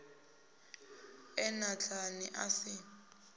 e na nḓala a si